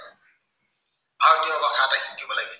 ভাৰতীয় ভাষা এটা শিকিব লাগিব।